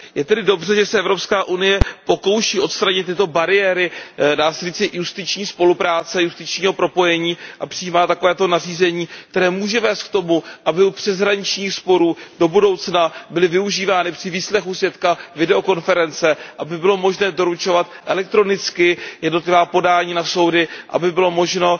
Je tedy dobře, že se Evropská unie pokouší odstranit tyto bariéry, dá se říci, justiční spolupráce, justičního propojení a přijímá takovéto nařízení, které může vést k tomu, aby u přeshraničních sporů do budoucna byly využívány při výslechu svědka videokonference, aby bylo možné doručovat elektronicky jednotlivá podání na soudy, aby bylo možno